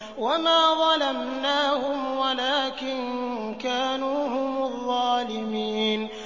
وَمَا ظَلَمْنَاهُمْ وَلَٰكِن كَانُوا هُمُ الظَّالِمِينَ